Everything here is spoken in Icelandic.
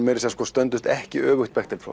stöndumst ekki öfugt